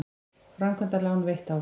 Framkvæmdalán veitt áfram